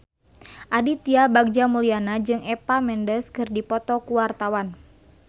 Aditya Bagja Mulyana jeung Eva Mendes keur dipoto ku wartawan